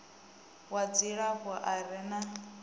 wa dzilafho a re na